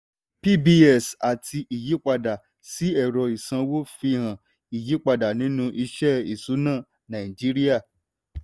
pbs àti ìyípadà sí ẹ̀rọ ìsanwó fi hàn ìyípadà nínú iṣẹ́ ìṣúná nàìjíríà.